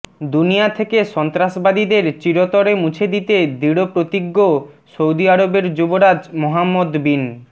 দুনিয়া থেকে সন্ত্রাসবাদীদের চিরতরে মুছে দিতে দৃঢ়প্রতিজ্ঞ সৌদি আরবের যুবরাজ মোহাম্মদ বিন